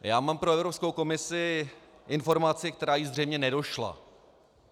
Já mám pro Evropskou komisi informaci, která jí zřejmě nedošla.